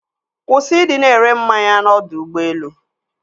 Kwụsị ịdị na-ere mmanya n'ọdọ ụgbọelu.